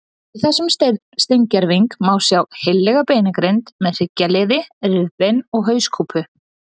Í þessum steingerving má sjá heillega beinagrind með hryggjarliði, rifbein og hauskúpu.